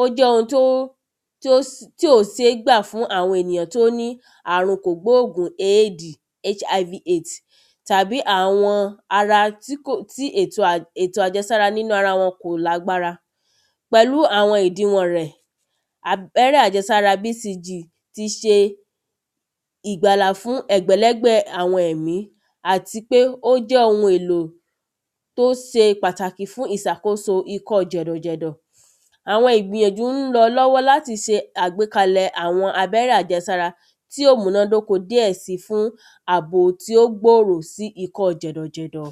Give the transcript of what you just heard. ó jẹ́ ohun tí ó tí ò sé gbà fún àwọn ènìyàn tí ó ní àrùn kò gbógùn aid hiv/aids tàbí àwọn ara tí kò tí ètò ètò àjẹsára nínú ara wọn kò lágbára. Pẹ̀lú àwọn ìdiwọ̀n rẹ̀ abẹ́rẹ́ àjẹsára bcg ti ṣe ìgbàlà fún ẹgbẹ̀lẹ́gbẹ̀ àwọn ẹ̀mí àtipé ó jẹ́ ohun èlò tó se pàtàkì fún ìsàkóso ikọ́ jẹ̀dọ̀ jẹ̀dọ̀. Àwọn ìgbìyànjú ń lọ lọ́wọ́ láti sàgbékalẹ̀ àwọn abẹ́rẹ́ àjẹsárá tí ó múná dóko díẹ̀ si fún àbò tí ó gbòrò sí fún ikọ́ jẹ̀dọ̀ jẹ̀dọ̀.